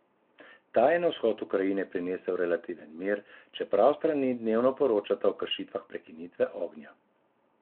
Ta je na vzhod Ukrajine prinesel relativen mir, čeprav strani dnevno poročata o kršitvah prekinitve ognja.